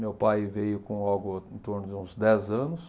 Meu pai veio com algo em torno de uns dez anos.